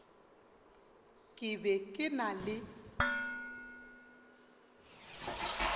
ke be ke na le